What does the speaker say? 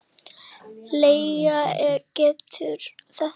Leigja Gerði þetta.